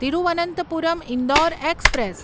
Thiruvananthapuram Indore express